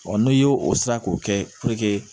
n'i y'o o sira k'o kɛ